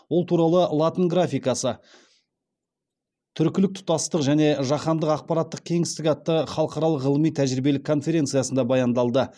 ол туралы латын графикасы түркілік тұтастық және жаһандық ақпараттық кеңістік атты халықаралық ғылыми тәжірибелік конференциясында баяндалды